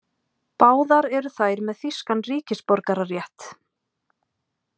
Báðar eru þær með þýskan ríkisborgararétt